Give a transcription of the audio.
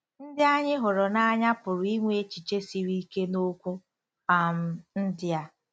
* Ndị anyị hụrụ n’anya pụrụ inwe echiche siri ike n’okwu um ndị a.